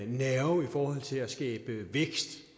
nerve i forhold til at skabe vækst